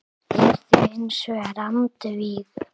er því hins vegar andvíg.